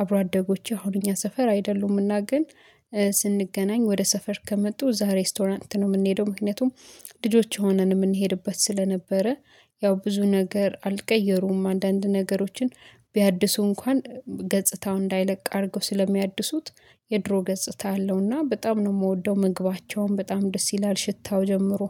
አብሮ አደጎቼ አሁን እኛ ሰፈር አይደሉምና ግን። ስንገናኝ ወደ ሰፈር ከመጡ ዛሬ ሬስቶራንት ነው የምንሄደው ምክንያቱም። ልጆች ሆነን የምንሄድበት ስለነበረ። ያው ብዙ ነገር አልቀየሩም አንዳንድ ነገሮችን ቢያድሱ እንኳን ገጽታው እንዳይለቅ አድርገው ስለሚያድሱት። የድሮ ገጽታ አለውና በጣም ነው የምወደው። ምግባቸውን በጣም ደስ ይላል ሽታው ጀመሩ